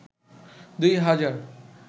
দুই হাজার